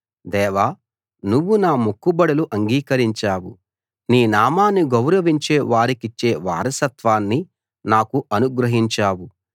దేవా నువ్వు నా మొక్కుబడులు అంగీకరించావు నీ నామాన్ని గౌరవించే వారికిచ్చే వారసత్వాన్ని నాకు అనుగ్రహించావు